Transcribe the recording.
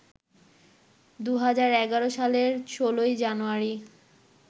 ২০১১ সালের ১৬ জানুয়ারি